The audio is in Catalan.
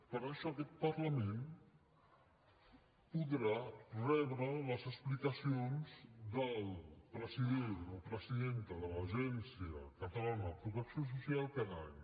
per això aquest parlament podrà rebre les explicacions del president o presidenta de l’agència catalana de protecció social cada any